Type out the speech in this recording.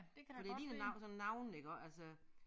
Fordi ligner sådan navne iggå altså